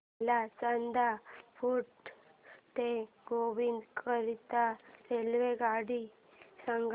मला चांदा फोर्ट ते गोंदिया करीता रेल्वेगाडी सांगा